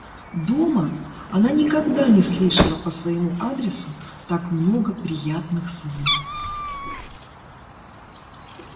дома она никогда не слышала по своему адресу так много приятных слов